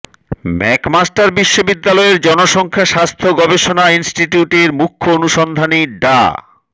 McMaster বিশ্ববিদ্যালয়ের জনসংখ্যা স্বাস্থ্য গবেষণা ইনস্টিটিউটের মুখ্য অনুসন্ধানী ডা